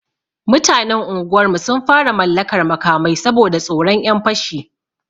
Mutanen unguwarmu sun fara mallakar makamai, saboda tsoron 'yan fashi.